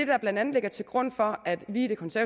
der blandt andet ligger til grund for at vi